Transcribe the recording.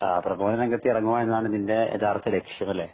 പ്രബോധന രംഗത്ത് ഇറങ്ങുക എന്നതാണ് നിന്‍റെ യഥാര്‍ത്ഥ ലക്‌ഷ്യം അല്ലേ?